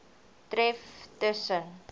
tref tus sen